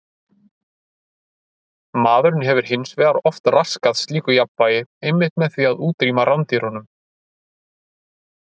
Maðurinn hefur hins vegar oft raskað slíku jafnvægi einmitt með því að útrýma rándýrunum.